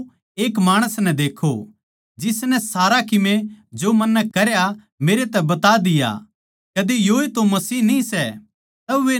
आओ एक माणस नै देक्खो जिसनै सारा किमे जो मन्नै करया मेरै तै बता दिया कदे योए तो मसीह न्ही सै